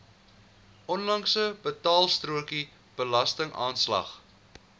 onlangse betaalstrokie belastingaanslag